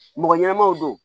Mɔgɔ ɲɛnamaw don